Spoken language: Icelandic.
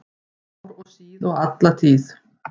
Ár og síð og alla tíð